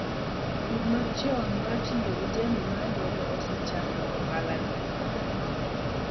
Pur ma chon mar tiyo gi jembe mar lwedo osechando ohala ni